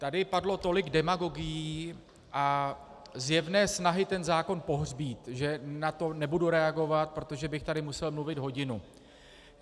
Tady padlo tolik demagogií a zjevné snahy ten zákon pohřbít, že na to nebudu reagovat, protože bych tady musel mluvit hodinu.